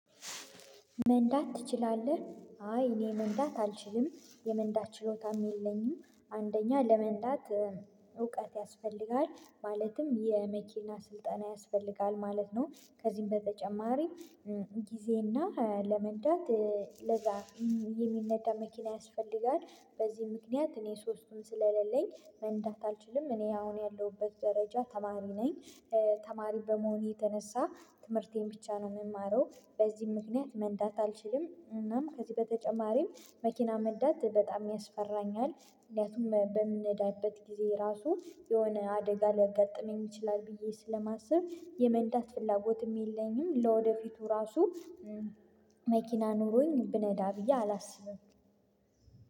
መንዳት ትችላለህ? አይ እኔ መንዳት አልችልም የመንዳት ችሎታም የለኝም አንደኛ ለመንዳት እውቀት ያስፈልጋል ማለትም የመኪና ስልጠና ያስፈልጋል ማለት ነው። ከዚህም በተጨማሪ ጊዜና ለመንዳት ለዛ የሚነዳ መኪና ያስፈልጋል። በዚህ ምክንያት እኔ ሶስቱን ስለሌለኝ መንዳት አልችልም እኔ አሁን ያለሁበት ደረጃ ተማሪ ነኝ። ተማሪ በመሆነ የተነሳ ትምህርቴን ብቻ ነው የምማረው በዚህም ምክንያት መንዳት አልችልም። እናም ከዚህ በተጨማሪም መኪና መንዳት በጣም ያስፈራኛል። ምክንያቱም በምንዳበት ጊዜ ራሱ የሆነ አደጋ ሊያጋጥመኝ ይችላል ብዬ ስለማስብ የመንዳት ፍላጎትም የለኝም። ለወደፊቱ ራሱ መኪና ኑሮኝ ብነዳ ብዬ አላስብም።